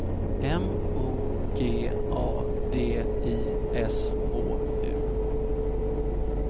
M O G A D I S H U